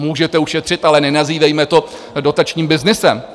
Můžete ušetřit, ale nenazývejme to dotačním byznysem.